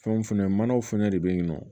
Fɛnw fɛnɛ manaw fɛnɛ de be yen nɔ